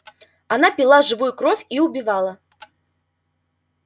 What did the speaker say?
она пила живую кровь и убивала